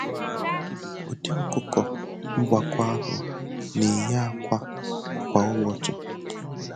Ụdị ọkụkọ ngwakọ ahụ na-eyi ákwà kwa ụbọchị.